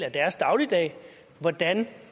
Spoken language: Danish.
af deres dagligdag hvordan